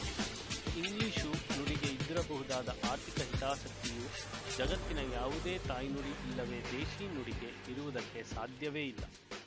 English ನುಡಿಗೆ ಇದ್ದಿರಬಹುದಾದ ಆರ್ಥಿಕ ಹಿತಾಸಕ್ತಿಯು ಜಗತ್ತಿನ ಯಾವುದೇ ತಾಯ್ನುಡಿ ಇಲ್ಲವೇ ದೇಶಿ ನುಡಿಗೆ ಇರುವುದಕ್ಕೆ ಸಾಧ್ಯವೇ ಇಲ್ಲ